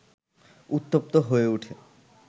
উত্তপ্ত হয়ে ওঠে